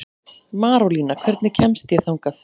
Marólína, hvernig kemst ég þangað?